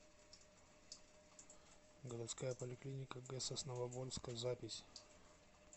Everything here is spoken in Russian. городская поликлиника г сосновоборска запись